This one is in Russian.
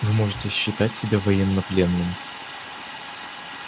вы можете считать себя военнопленным